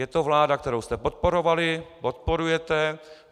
Je to vláda, kterou jste podporovali, podporujete.